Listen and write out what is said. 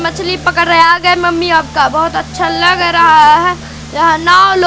मछली पकड़ रहे आ गए मम्मी आपका बहोत अच्छा लग रहा है। यहां नाव लो--